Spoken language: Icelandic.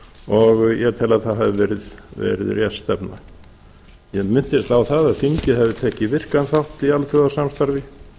og ég tel að það hafi verið rétt stefna ég minntist á það að þingið hefði tekið virkan þátt í alþjóðasamstarfi